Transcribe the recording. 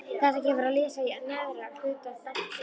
Þetta gefur að lesa í neðra hluta dálksins